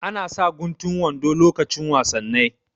Ana sa guntun wando lokacin wasannai